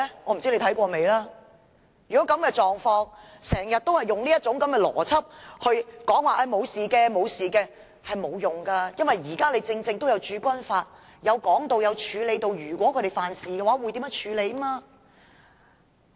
我不知道你看過那段法例沒有，但經常用這種邏輯說不會有事，是行不通的，因為《駐軍法》也提到，如果他們犯事會如何處理。